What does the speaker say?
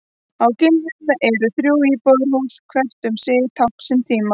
Á Giljum eru þrjú íbúðarhús, hvert um sig tákn síns tíma.